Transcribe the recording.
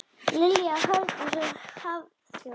Lilja Hjördís og Hafþór.